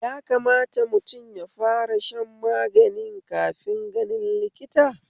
Yakamata mutum yafara shan magani kafin ganin likita?